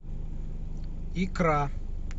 икра